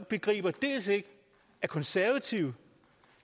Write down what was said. begriber at de konservative